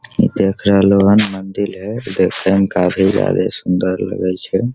देख रहलो हैन मंदिर है देखे में काफी ज्यादा सुंदर लगे छै।